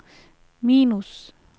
minus